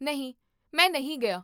ਨਹੀਂ, ਮੈਂ ਨਹੀਂ ਗਿਆ